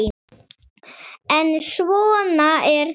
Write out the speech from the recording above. En svona er það.